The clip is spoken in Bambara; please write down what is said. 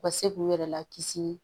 U ka se k'u yɛrɛ lakisi